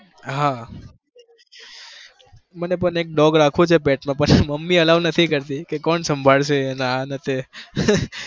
હા મને પણ એક dog રાખવો છે pet માં પણ મમ્મી allow નથી કરતી કે કોણ સંભાળશે અને આ ને તે